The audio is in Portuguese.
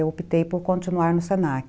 Eu optei por continuar no senaque